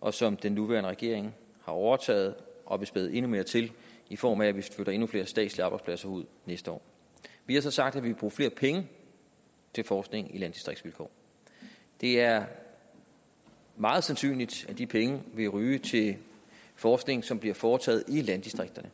og som den nuværende regering har overtaget og vil spæde endnu mere til i form af at vi flytter endnu flere statslige arbejdspladser ud næste år vi har så sagt at vi vil bruge flere penge til forskning i landdistriktsvilkår det er meget sandsynligt at de penge vil ryge til forskning som bliver foretaget i landdistrikterne